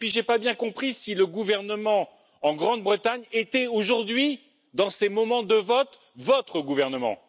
Et puis je n'ai pas bien compris si le gouvernement en Grande Bretagne était aujourd'hui, dans ces moments de vote, votre gouvernement!